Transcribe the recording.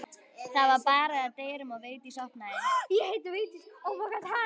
Það var barið að dyrum og Vigdís opnaði.